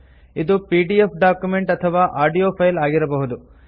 ಇದು PDF document ಅಥವಾ audio file ಆಗಿರಬಹುದು